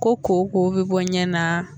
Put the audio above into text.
Ko koko bɛ bɔ ɲɛ na.